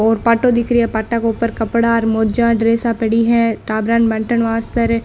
और पाटों दिख रो है पाटा के ऊपर कपडा मोजा और ड्रेसा पड़ी है टाबरा ने बाटन वास्ते र।